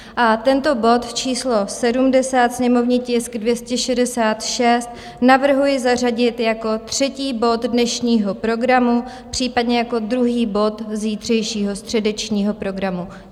A tento bod číslo 70, sněmovní tisk 266, navrhuji zařadit jako třetí bod dnešního programu, případně jako druhý bod zítřejšího středečního programu.